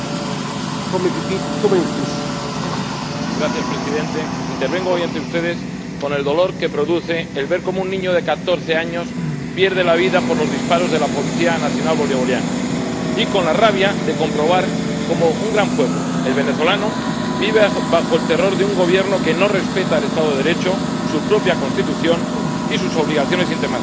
Señor Presidente, intervengo hoy ante ustedes con el dolor que produce el ver cómo un niño de catorce años pierde la vida por los disparos de la policía nacional bolivariana. Y con la rabia de comprobar cómo un gran pueblo, el venezolano, vive bajo el terror de un Gobierno que no respeta el Estado de Derecho, su propia Constitución y sus obligaciones internacionales.